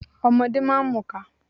Ọmọdé máa ń mu ìka.